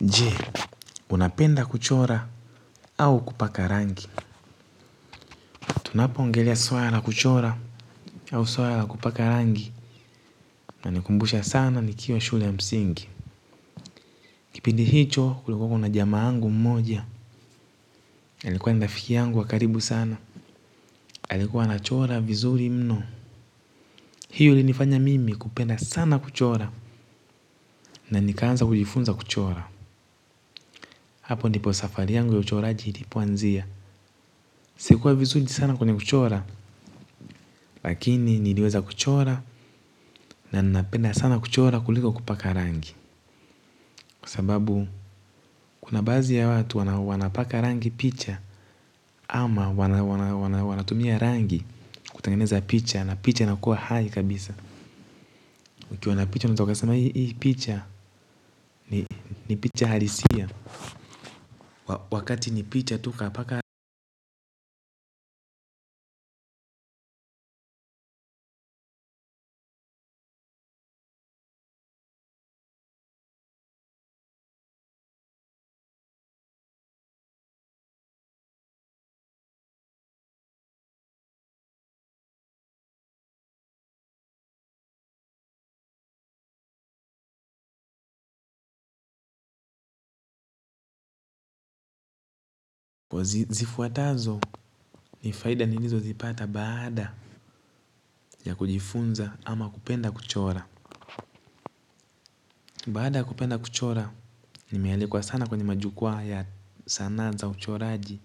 Je, unapenda kuchora au kupakarangi? Tunapoongelea swala la kuchora au swala la kupa karangi inanikumbusha sana nikiwa shule ya msingi. Kipindi hicho, kulikweko na jamaa yangu mmoja na alikuwa ni rafiki yangu wa karibu sana alikuwa anachora vizuri mno. Hiyo ilinifanya mimi kupenda sana kuchora. Na nikaanza kujifunza kuchora. Hapo ndipo safari yangu ya uchoraji ilipoanzia. Sikuwa vizuri sana kwenye kuchora. Lakini niliweza kuchora na ninapenda sana kuchora kuliko kupaka rangi kwa sababu kuna baadhi ya watu wanapaka rangi picha ama wanatumia rangi kutengeneza picha, na picha inakuwa hai kabisa, ukiona picha unaweza kusema hii picha ni picha halisia, wakati ni picha tu kapaka rangi. Zifuatazo ni faida nilizozipata baada ya kujifunza ama kupenda kuchora, baada kupenda kuchora nimealikwa sana kwenye majukwaa ya sanaa za uchoraji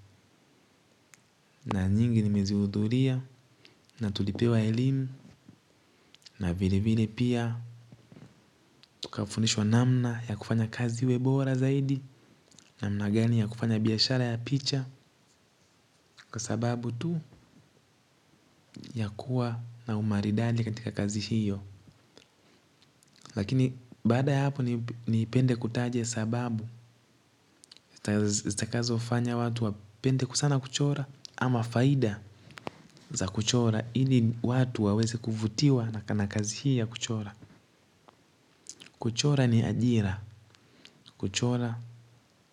kuna nyingi nimeziudhuria, natulipewa elimu, na vilevile pia tukafundishwa namna ya kufanya kazi iwe bora zaidi. Namna gani ya kufanya biashara ya picha? Kwa sababu tu ya kuwa na umaridadi katika kazi hiyo. Lakini baada ya hapo napenda kutaja sababu zitakazofanya watu wapende sana kuchora ama faida za kuchora, ili watu waweze kuvutiwa sana na kazi hii ya kuchora kuchora ni ajira, kuchora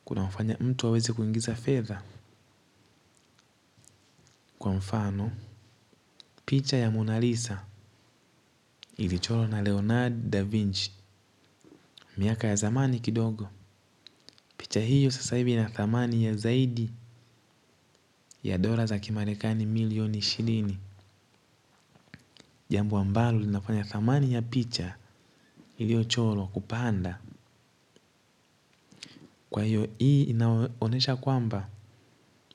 kunafanya mtu awezekuingiza fedha. Kwa mfano, picha ya Mona Lisa ili chorwa na Leonard Da Vinci. Miaka ya zamani kidogo picha hiyo sasa hivi ina thamani ya zaidi ya dola za kimarekani milioni ishirini. Jambo ambalo linafanya thamani ya picha iliyochorwa kupanda. Kwa hiyo hii inaonyesha kwamba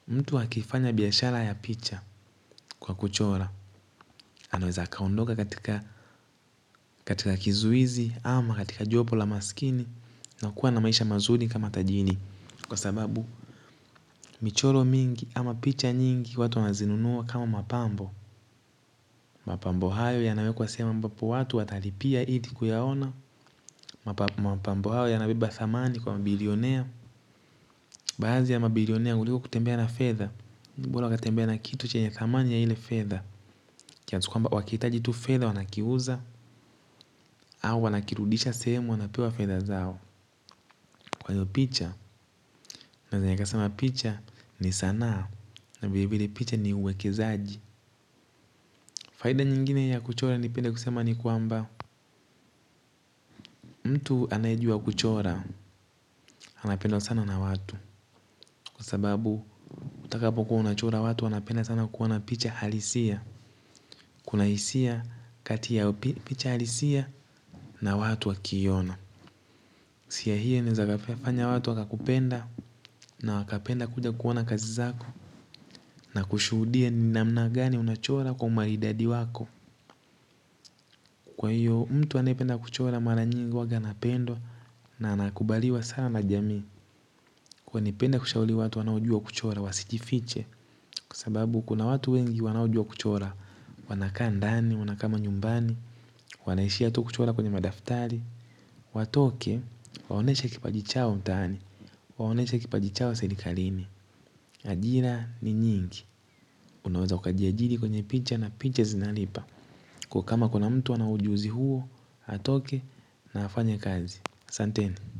mtu akifanya biashara ya picha kwa kuchora anaweza kuondoka katika kizuizi ama katika jopo la maskini na kuwa na maisha mazuri kama tajiri. Kwa sababu michoro mingi ama picha nyingi watu wanazinunuwa kama mapambo. Mapambo hayo yanawekwa sehemu ambapo watu watalipia ili kuyaona mapambo hayo yanabeba thamani kwa mabilionea. Baadhi ya mabilionea kuliko kutembea na fedha, bora waka tembea na kitu chenye thamani ya ile fedha, kiasi kwamba wakihitaji tu fedha wanakiuza au wanakirudisha sehemu wanapewa fedha zao. Kwa hiyo picha naweza nikasema picha ni sanaa na vile vile picha ni uwekezaji. Faida nyingine ya kuchora napenda kusema ni kwamba, mtu anaye jua kuchora anapendwa sana na watu. Kwa sababu, utakapokuwa unachora watu wanapenda sana kuona picha halisia. Kuna hisia kati ya picha halisia na watu wanapoiona. Hisia hiyo ninaweza kufanya watu wakakupenda na wakapenda kuja kuona kazi zako na kushuhudia ni namna gani unachora kwa umaridadi wako. Kwa hiyo mtu anayependa kuchora mara nyingi huwa anapendwa na anakubaliwa sana na jamii. Kwa hiyo napenda kushauri watu wanaojua kuchora wasijifiche. Kwa sababu kuna watu wengi wanaojua kuchora wanakaa ndani, wanakaa manyumbani, wanaishi tu kuchora kwenye madaftari. Watoke, waonyesha kipaji chao mtaani, waonyesha kipaji chao serikalini. Ajira ni nyingi, unaweza ukajiajiri kwenye picha na picha zinalipa. Kwa hiyo kama kuna mtu ana ujuzi huo atoke na afanye kazi. Asanteni.